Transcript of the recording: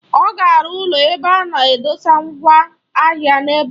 Ọ ga-arụ ụlọ ebe a na-edosa mgwa ahịa n'ebe ahụ.